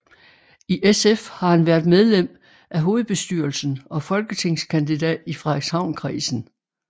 I SF har han været medlem af hovedbestyrelsen og folketingskandidat i Frederikshavnkredsen